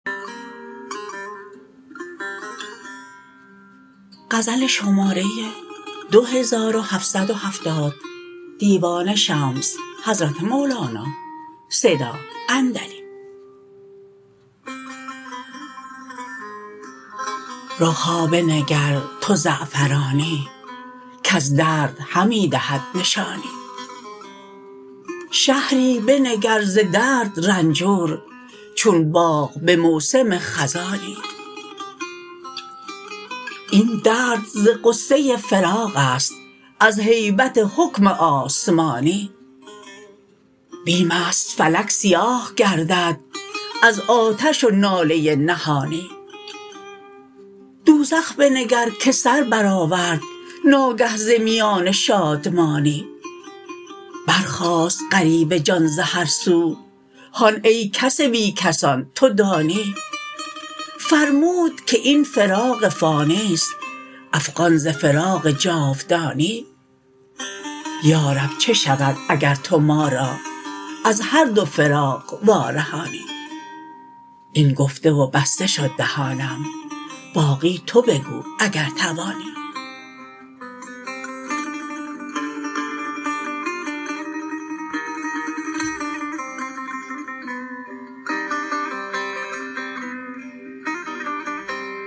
رخ ها بنگر تو زعفرانی کز درد همی دهد نشانی شهری بنگر ز درد رنجور چون باغ به موسم خزانی این درد ز غصه فراق است از هیبت حکم آسمانی بیم است فلک سیاه گردد از آتش و ناله نهانی دوزخ بنگر که سر برآورد ناگه ز میان شادمانی برخاست غریو جان ز هر سو هان ای کس بی کسان تو دانی فرمود که این فراق فانی است افغان ز فراق جاودانی یا رب چه شود اگر تو ما را از هر دو فراق وارهانی این گفته و بسته شد دهانم باقی تو بگو اگر توانی